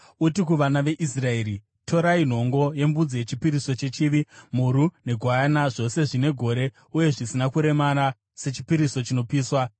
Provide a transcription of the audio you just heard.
Uti kuvana veIsraeri, ‘Torai nhongo yembudzi yechipiriso chechivi, mhuru negwayana zvose zvine gore uye zvisina kuremara sechipiriso chinopiswa